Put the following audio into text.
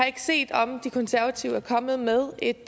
ikke set om de konservative er kommet med et